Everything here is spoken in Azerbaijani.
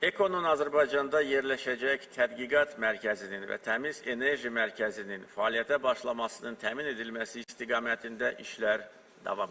EKO-nun Azərbaycanda yerləşəcək tədqiqat mərkəzinin və təmiz enerji mərkəzinin fəaliyyətə başlamasının təmin edilməsi istiqamətində işlər davam edir.